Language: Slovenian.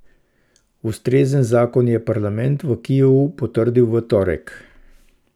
Ustrezen zakon je parlament v Kijevu potrdil v torek.